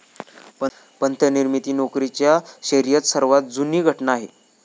पंत निर्मित नोकरीच्या शर्यत सर्वात जुनी घटना आहे